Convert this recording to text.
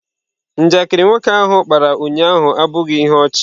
Njakịrị nwoke ahụ kpara ụnyahụ abụghị ihe ọchị.